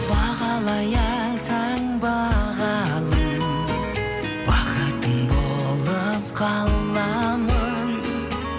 бағалай алсаң бағалым бақытың болып қаламын